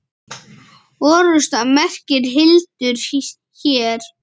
Orrusta merkir hildur hér.